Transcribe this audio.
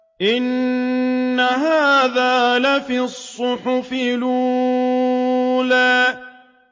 إِنَّ هَٰذَا لَفِي الصُّحُفِ الْأُولَىٰ